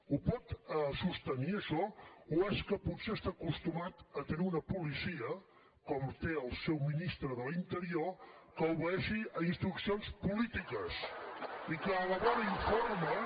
ho pot sostenir això o és que potser està acostumat a tenir una policia com té el seu ministre de l’interior que obeeixi instruccions polítiques i que elabora informes